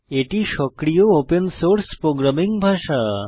এটি সক্রিয় open source programming ভাষা